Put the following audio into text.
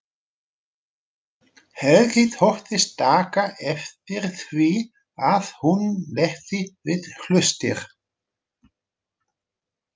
Helgi þóttist taka eftir því að hún legði við hlustir.